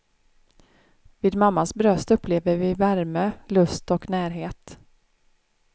Vid mammas bröst upplever vi värme, lust och närhet.